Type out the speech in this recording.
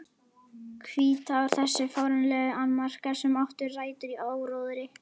Hvítár Þessir fáránlegu annmarkar, sem áttu rætur í áróðri